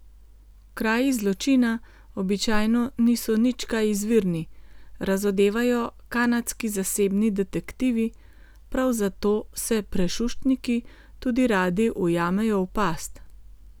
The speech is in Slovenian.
Kraji zločina običajno niso nič kaj izvirni, razodevajo kanadski zasebni detektivi, prav zato se prešuštniki tudi radi ujamejo v past.